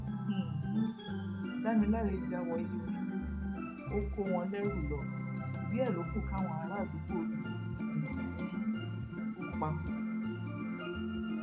um damiláre já wọ ilé onílé ó kó wọn lẹrú lọ díẹ ló kù káwọn aràádúgbò lù um ú pa